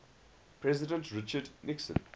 president richard nixon